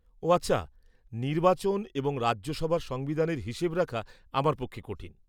ও, আচ্ছা। নির্বাচন এবং রাজ্যসভার সংবিধানের হিসেব রাখা আমার পক্ষে কঠিন।